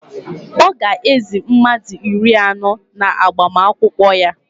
Ọ ga-ézī mmadụ iri anọ n'agbamakwụkwọ ya